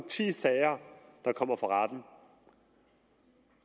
ti sager der kommer for retten